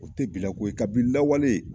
O tɛ bilako ye ka bini lawale